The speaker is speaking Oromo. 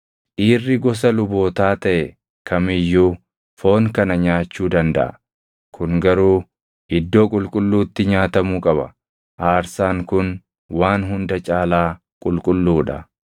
Dhiirri gosa lubootaa taʼe kam iyyuu foon kana nyaachuu dandaʼa; kun garuu iddoo qulqulluutti nyaatamuu qaba; aarsaan kun waan hunda caalaa qulqulluu dha.